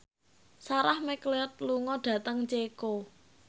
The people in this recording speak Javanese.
Sarah McLeod lunga dhateng Ceko